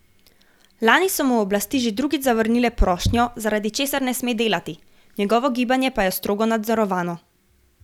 Lani so mu oblasti že drugič zavrnile prošnjo, zaradi česar ne sme delati, njegovo gibanje pa je strogo nadzorovano.